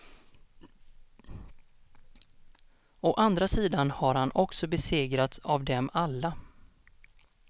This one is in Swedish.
Å andra sidan har han också besegrats av dem alla.